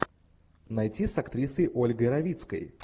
найти с актрисой ольгой равицкой